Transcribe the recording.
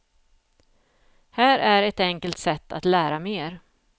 Här är ett enkelt sätt att lära mer.